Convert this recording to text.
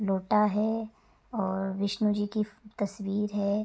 लोटा है और विष्णु जी की फ् तस्वीर है।